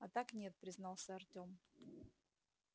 а так нет признался артём